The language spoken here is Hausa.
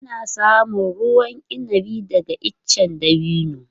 Ana samun ruwan inabi daga icen dabino.